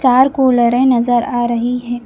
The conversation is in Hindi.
चार कूलरे नजर आ रही है।